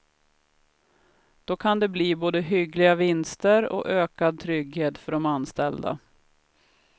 Då kan det bli både hyggliga vinster och ökad trygghet för de anställda.